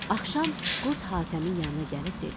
Axşam qurd Hatəmin yanına gəlib dedi.